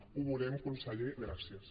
ho veurem conseller gràcies